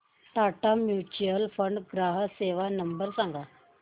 Tata mutual fund ग्राहक सेवा number सांगा